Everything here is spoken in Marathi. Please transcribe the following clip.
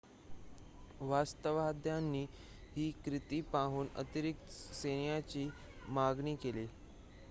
वसाहतवाद्यांनी ही कृती पाहून अतिरिक्त सैन्याची मागणी केली